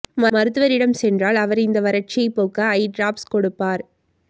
மருத்துவரிடம் சென்றால் அவர் இந்த வறட்சியைப் போக்க ஐ டிராப்ஸ் கொடுப்பார்